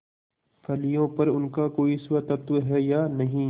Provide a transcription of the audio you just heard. फलियों पर उनका कोई स्वत्व है या नहीं